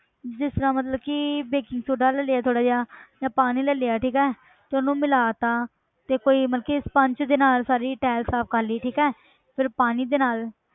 ਜਿਸ ਤਰ੍ਹਾਂ ਮਤਲਬ ਕਿ baking soda ਲੈ ਲਿਆ ਥੋੜ੍ਹਾ ਜਿਹਾ ਜਾਂ ਪਾਣੀ ਲੈ ਲਿਆ ਠੀਕ ਹੈ ਤੇ ਉਹਨੂੰ ਮਿਲਾਤਾ, ਤੇ ਕੋਈ ਮਤਲਬ ਕਿ sponge ਦੇ ਨਾਲ ਸਾਰੀ tile ਸਾਫ਼ ਕਰ ਲਈ ਠੀਕ ਹੈ ਫਿਰ ਪਾਣੀ ਦੇ ਨਾਲ